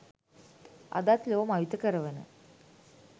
අදත් ලොව මවිත කරවන